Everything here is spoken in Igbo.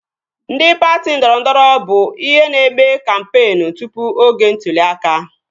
Ndị patị ndọrọndọrọ bụ ihe na-eme kampeen tụpụ oge ntụli aka